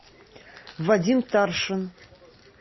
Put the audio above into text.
вадим таршин